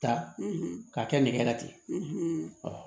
Ta ka kɛ nɛgɛ la ten